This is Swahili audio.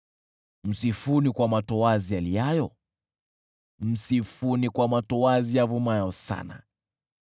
msifuni kwa matoazi yaliayo, msifuni kwa matoazi yavumayo sana.